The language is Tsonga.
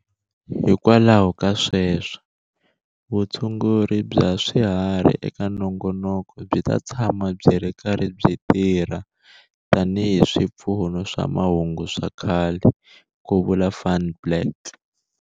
Hikwalaho ka sweswo, vutshunguri bva swiharhi eka nongonoko byi ta tshama byi ri karhi byi tirha tanihi swipfuno swa mahungu swa kahle, ku vula Van Blerk.